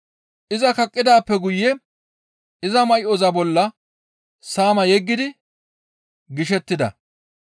Iza kaqqidaappe guye iza may7oza bolla saama yeggidi gishettida.